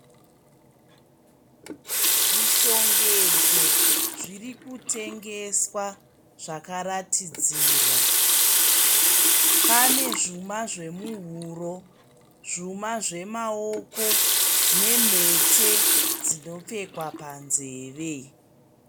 Zvishongedzo zviri kutengeswa zvakaratidzirwa. Pane zvuma zvemuhuro, zvuma zvemaoko nemhete dzinopfekwa panzeve. .